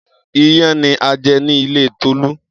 Iyán ni a jẹ ní ilé Tolú.